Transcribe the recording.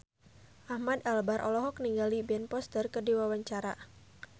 Ahmad Albar olohok ningali Ben Foster keur diwawancara